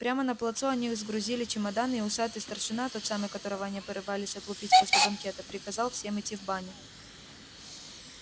прямо на плацу они сгрузили чемоданы и усатый старшина тот самый которого они порывались отлупить после банкета приказал всем идти в баню